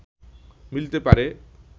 মিলতে পারে